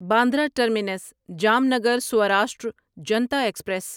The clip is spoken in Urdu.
Bandra terminus Jamnagar Saurashtra Janta express